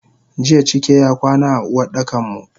Jiya cike y akwana a Uwardakanmu.